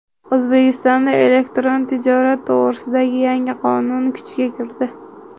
O‘zbekistonda elektron tijorat to‘g‘risidagi yangi qonun kuchga kirdi.